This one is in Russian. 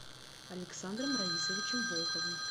александром раисовичем волковым